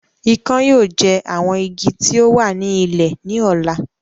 Ikán yóò jẹ àwọn Igi tí o wà ní ilẹ̀ ní ọ̀la